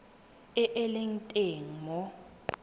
e e leng teng mo